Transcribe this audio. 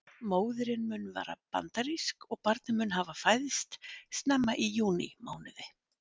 Móðirin mun vera bandarísk og barnið mun hafa fæðst snemma í júní mánuði.